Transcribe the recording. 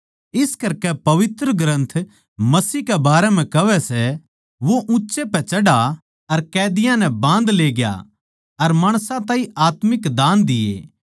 इस करकै पवित्रग्रन्थ मसीह के बारें म्ह कहवै वो ऊँच्चै पे चढ़ा अर कैदियाँ नै बाँधले ग्या अर माणसां ताहीं आत्मिक दान दिए